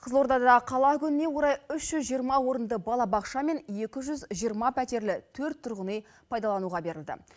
қызылордада қала күніне орай үш жүз жиырма орынды балабақша мен екі жүз жиырма пәтерлі төрт тұрғын үй пайдалануға берілді